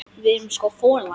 Við erum sko folar.